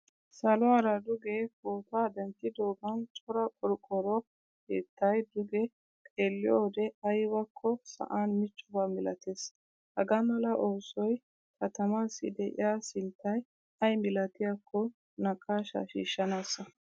Saluwaara duge pootuwaa denttidogan cora qorqoro keettay duge xeeliyode aybako sa'an miccobba milatees. Hagaamala oosoy katamasi deiya sinttay aymilatiyakko naaqashsha shiishanasa.